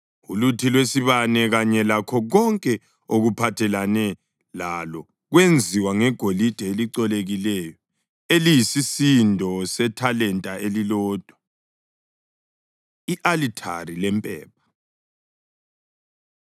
Uluthi lwesibane kanye lakho konke okuphathelene lalo kwenziwa ngegolide elicolekileyo eliyisisindo sethalenta elilodwa. I-Alithari Lempepha